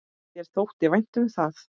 Þér þótti vænt um það.